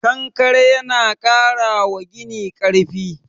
Konkare yana ƙara wa gini karfi